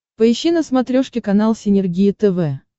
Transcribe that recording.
поищи на смотрешке канал синергия тв